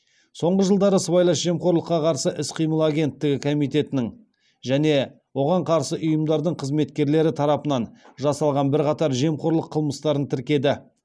соңғы жылдары сыбайлас жемқорлыққа қарсы іс қимыл агенттігі комитетінің және оған қарсы ұйымдардың қызметкерлері тарапынан жасалған бірқатар жемқорлық қылмыстарын тіркеді